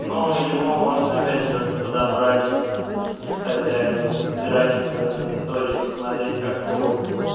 ну его можно опять же подобрать исходя из графика на истории посмотреть как ходит